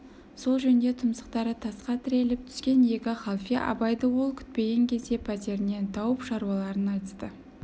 сол жөнде тұмсықтары тасқа тіреліп түскен екі халфе абайды ол күтпеген кезде пәтерінен тауып шаруаларын айтысты